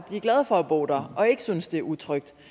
er glade for at bo der og ikke synes at det er utrygt